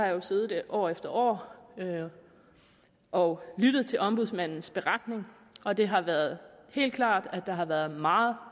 jo siddet år efter år og lyttet til ombudsmandens beretning og det har været helt klart at der har været meget